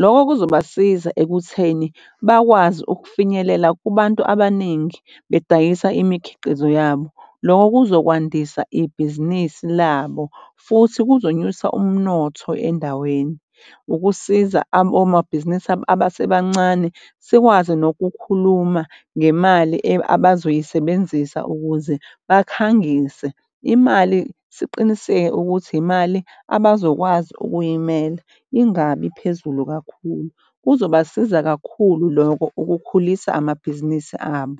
Lokho kuzobasiza ekutheni bakwazi ukufinyelela kubantu abaningi bedayisa imikhiqizo yabo. Loko kuzokwandisa ibhizinisi labo futhi kuzonyusa umnotho endaweni ukusiza omabhizinisi abasebancane. Sikwazi nokukhuluma ngemali abazoyisebenzisa ukuze bakhangise imali. Siqiniseke ukuthi imali abazokwazi ukuyimela ingabi phezulu kakhulu. Kuzobasiza kakhulu loko ukukhulisa amabhizinisi abo.